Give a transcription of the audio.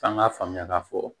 F'an k'a faamuya k'a fɔ